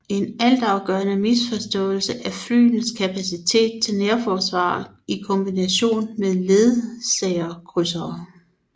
En altafgørende misforståelse af flyenes kapacitet til nærforsvar i kombination med ledsagerkrydsere